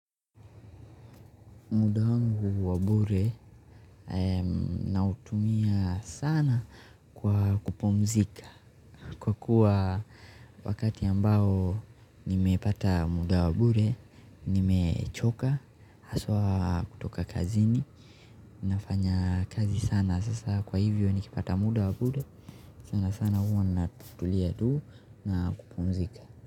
Muda wangu wa bure nautumia sana kwa kupumzika kwa kuwa wakati ambao nimepata muda wa bure, nimechoka, haswa kutoka kazini nafanya kazi sana sasa kwa hivyo nikipata muda wa bure sana sana huwa natulia tu na kupumzika.